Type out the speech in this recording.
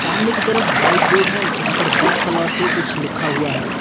सामने की तरफ व्हाइट बोर्ड है यहां पर ब्लैक कलर से कुछ लिखा हुआ है।